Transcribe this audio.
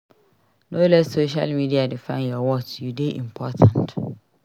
No let social media define your worth; you dey important.